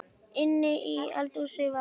Inni í eldhúsi var